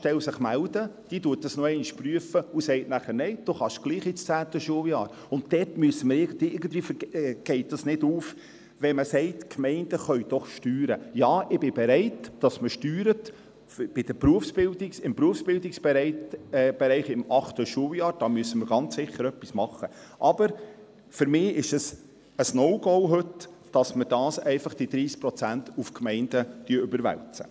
Der frühere Erziehungsdirektor hatte es sich zum Ziel gemacht, die BVS-Klassen so tief wie möglich zu halten, und es wurden bereits entsprechende Massnahmen ergriffen.